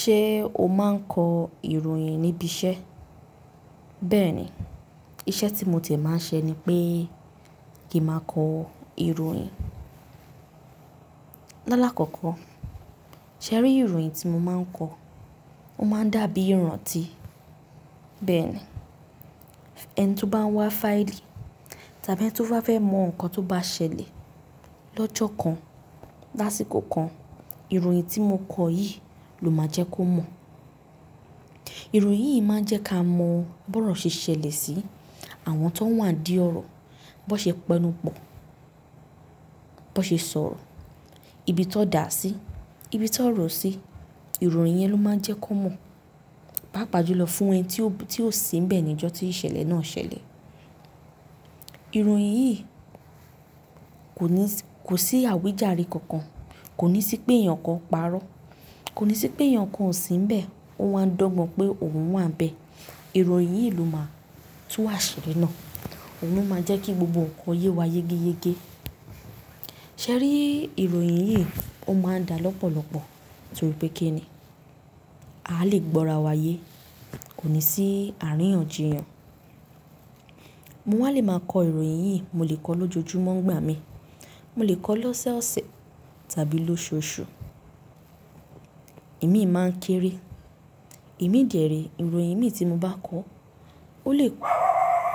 Ṣé o máa ń kọ ìròyìn níbi iṣẹ́? Bẹ́ẹ̀ni, iṣẹ́ tí mo ti e máa ń ṣe ni pé kí n máa kọ ìròyìn. Lálàkọ́kọ́, ṣé ẹ rí ìròyìn tí mo máa ń kọ? Ó máa ń dàbí ìrántí. Bẹ́ẹ̀ni, ẹni tó bá wá fáìlì tàbí ẹni tó ba fẹ́ mọ nǹkan tó bá ṣẹlẹ̀ lọ́jọ́ kan, lásìkò kan, ìròyìn tí mo kọ yìí ló máa jẹ́ kó mọ̀. Ìròyìn yìí máa ń jẹ́ ká mọ̀ bi orò ṣe ṣẹlẹ̀ sí, àwọn ti won wà dí ọ̀rọ̀, bi won ṣe p'enu pọ̀, bi won ṣe sọ̀rọ̀, ibi ti won dà sí, ibi ti won ro sí, ìròyìn yẹn ló máa ń jẹ́ ki won mọ̀. Paapà jùlọ fún ẹni tí ó, tí ò sí níbẹ̀ ní ọjọ́ tí ìṣẹ̀lẹ̀ náà ṣẹlẹ̀. Ìròyìn yìí kò ní, kò sí àwíjàre kankan, kò ní sí pé èèyàn kan parọ́, kò ní sí pé èèyàn kan ò sí níbẹ̀, ó wa ń d'ogbon pé òun wà níbẹ̀. Ìròyìn yìí ló máa tú àṣírí náà, òun ló máa ń jẹ́ kí gbogbo nǹkan yé wa yégéyegé. Ṣé ẹ rí ìròyìn yìí Ó máa ń dà lọ́pọ̀lọpọ̀ torí pé kí ni? A lè gbọ́ ara wa ye, kò ní sí àríyànjiyàn. Mo wá lè máa kọ ìròyìn yìí, mo lè kọ ọ lọ́jojúmọ́ nigbà mii, mo lè kọ ọ lọ́sẹ́ ọ̀sẹ̀ tàbí lóṣoọṣù. Imi máa ń kéré, imi dẹ̀ re, ìròyìn mii tí mo bá kọ ó lè,